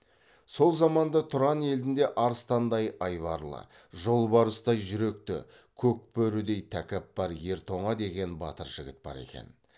сол заманда тұран елінде арыстандай айбарлы жолбарыстай жүректі көк бөрідей тәкаппар ер тоңа деген батыр жігіт бар екен